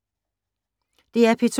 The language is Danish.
DR P2